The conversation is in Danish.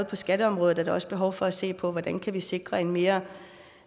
på skatteområdet også behov for at se på hvordan vi kan sikre en mere